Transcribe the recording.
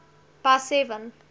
by seven